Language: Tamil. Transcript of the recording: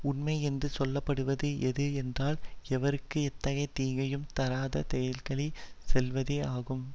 உண்மை என்று சொல்ல படுவது எது என்றால் எவர்க்கு எத்தகைய தீங்கையும் தராத சொற்களை செல்வதே ஆகும்